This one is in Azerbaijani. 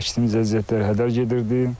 Əkdiymiz əziyyətlər hədər gedirdi.